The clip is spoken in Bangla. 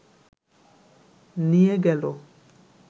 নিয়ে গেল